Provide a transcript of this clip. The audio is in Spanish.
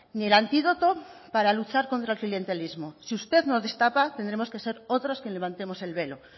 ni el antídoto para luchar contra el clientelismo si usted no destapa tendremos que ser otros quien levantemos el velo